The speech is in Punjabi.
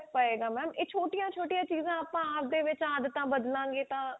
ਬੜਾ ਫਰਕ ਪਾਏ ਗਾ ਇਹ ਛੋਟੀਆਂ ਛੋਟੀਆਂ ਚੀਜ਼ਾਂ ਆਪਾਂ ਆਪਦੇ ਵਿੱਚ ਆਦਤਾਂ ਬਦਲਾਂ ਗਏ ਤਾਂ